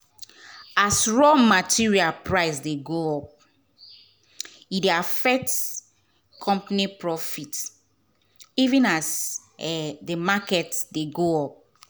as raw material price dey go up e dey affect company profit even as um the market dey go up.